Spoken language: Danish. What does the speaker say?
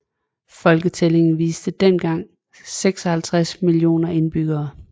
Folketællingen viste dengang 56 millioner indbyggere